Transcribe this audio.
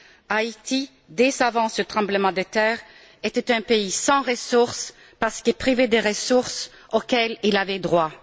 Haïti, dès avant ce tremblement de terre, était un pays sans ressources, parce que privé des ressources auxquelles il avait droit.